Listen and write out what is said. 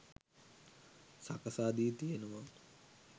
සකසා දී තියෙනවා.